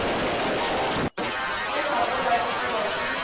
ntle ga go latlhegelwa ke